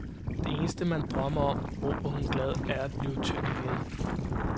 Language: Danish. Det eneste man drømmer om, råber hun glad, er at blive tynd igen.